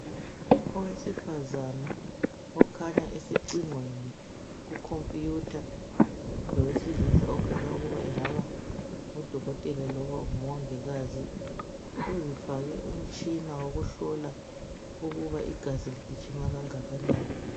Owesifazana okhanya esecingweni ku computer, lowesilisa okhanya ukuba engaba ngudokotela loba ngumongikazi uzifake umtshina wokuhlola ukuba igazi ligijima okungakanani.